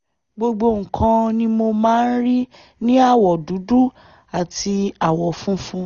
gbogbo nǹkan ni mo máa ń rí ní àwọ̀ dúdú àti àwọ̀ funfun